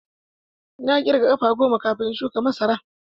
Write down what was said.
Na ƙirga ƙafa goma kafin na shuka masara.